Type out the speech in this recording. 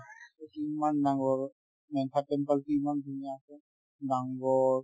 সেইটো ইমান ডাঙৰ মেনথান temple তো ইমান ধুনীয়া আছে